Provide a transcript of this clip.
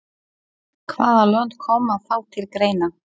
Hvaða lönd koma þá til greina?